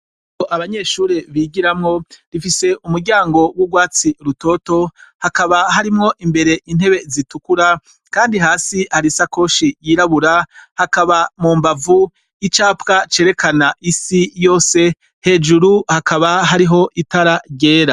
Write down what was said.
abanyeshuri bigiramwo rifise umuryango w'urwatsi rutoto hakaba harimwo imbere intebe zitukura kandi hasi hari isakoshi yirabura hakaba mu mbavu 'capwa cerekana isi yose hejuru hakaba hariho itara ryera